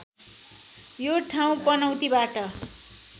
यो ठाउँ पनौतीबाट